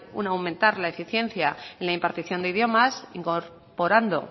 un aumentar la eficiencia en la impartición de idiomas incorporando